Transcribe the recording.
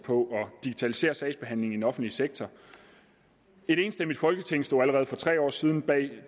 på at digitalisere sagsbehandlingen offentlige sektor et enstemmigt folketing stod allerede for tre år siden bag